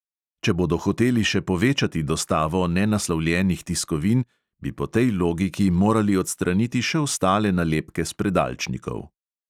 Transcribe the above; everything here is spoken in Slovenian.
Če bodo hoteli še povečati dostavo nenaslovljenih tiskovin, bi po tej logiki morali odstraniti še ostale nalepke s predalčnikov.